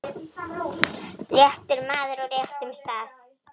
réttur maður á réttum stað.